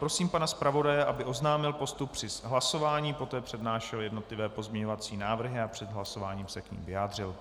Prosím pana zpravodaje, aby oznámil postup při hlasování, poté přednášel jednotlivé pozměňovací návrhy a před hlasováním se k nim vyjádřil.